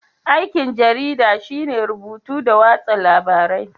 Aikin jarida shine rubutu da watsa labarai